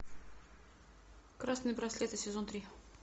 красные браслеты сезон три